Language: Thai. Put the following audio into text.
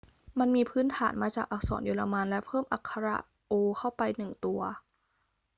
มันมีพื้นฐานมาจากอักษรเยอรมันและเพิ่มอักขระ õ/õ เข้าไปหนึ่งตัว